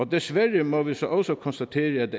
desværre må vi så også konstatere at